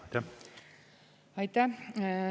Aitäh!